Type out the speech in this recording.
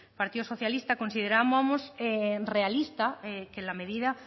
partido socialista considerábamos realista que la medida